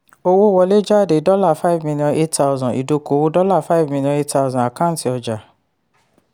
owó wọlé/jáde dollar five million eight thousand idókòwò dollar five million eight thousand àkáǹtì ọjà.